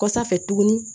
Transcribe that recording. Kɔsa fɛ tuguni